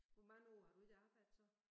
Hvor mange år har du ikke arbejdet så?